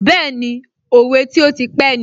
Bẹ́ẹ̀ni, òwe tí ó ti pé ni